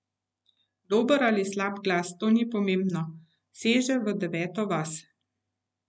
Dober ali slab glas, to ni pomembno, seže v deveto vas.